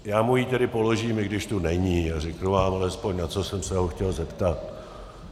Já mu ji tedy položím, i když tu není, a řeknu vám alespoň, na co jsem se ho chtěl zeptat.